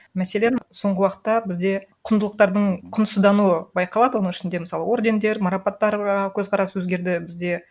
мәселен соңғы уақытта бізде құндылықтардың құнсыздануы байқалады оның ішінде мысалы ордендер марапаттар а көзқарас өзгерді бізде